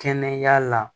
Kɛnɛya la